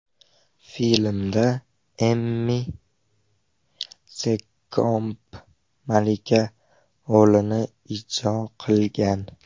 Filmda Emi Sekkomb malika rolini ijro qilgan.